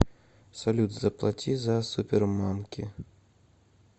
салют заплати за супермамки